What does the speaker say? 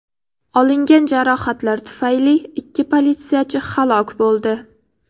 Olingan jarohatlar tufayli ikki politsiyachi halok bo‘ldi.